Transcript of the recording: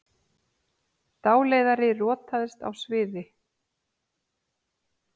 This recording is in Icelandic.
Dáleiðari rotaðist á sviði